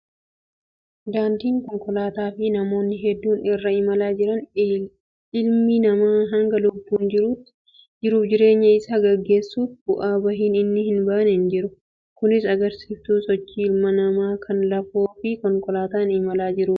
Daandii konkolaataa fi namoonni hedduun irra imalaa jiran. Ilmi namaa hanga lubbuun jirutti jiruuf jireenya isaa gaggeessuuf bu'aa bahiin inni hin baane hin jiru. Kunis agarsiiftuu sochii ilma namaa kan lafoo fi konkolaataan imalaa jiruuti.